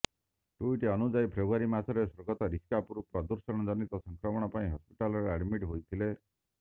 tweet ଅନୁଯାୟୀ February ମାସରେ ସ୍ୱର୍ଗତ ଋଷି କପୁର ପ୍ରଦୂଷଣ ଜନିତ ସଂକ୍ରମଣ ପାଇଁ ହସ୍ପିଟାଲରେ ଆଡମିଟ୍ ହୋଇଥିଲେ